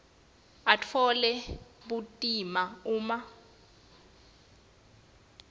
atfole bumatima uma